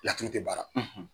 Laturu tɛ baara